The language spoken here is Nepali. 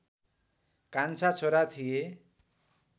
कान्छा छोरा थिए